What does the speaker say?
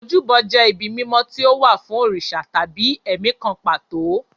Ojúbọ jẹ́ ibi mímọ́ tí ó wà fún òrìṣà tàbí ẹ̀mí kan pàtó.